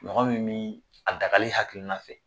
Mɔgɔ min bɛ a dagali hakilikiina fɛ